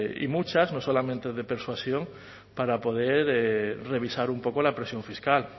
y muchas no solamente de persuasión para poder revisar un poco la presión fiscal